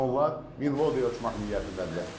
Onlar Minvodyaya uçmaq niyyətindədirlər.